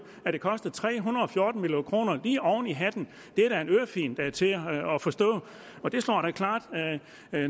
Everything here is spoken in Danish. at det koster tre hundrede og fjorten million kroner lige oven i hatten det er da en ørefigen der er til at forstå og det slår da klart